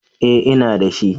Eh ina dashi